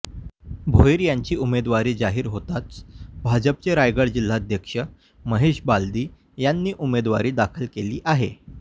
भोईर यांची उमेदवारी जाहीर होताच भाजपचे रायगड जिल्हाध्यक्ष महेश बालदी यांनी उमेदवारी दाखल केली आहे